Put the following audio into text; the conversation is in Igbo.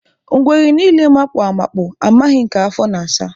Ngwere niile makpu amapu, amaghị nke afọ na asa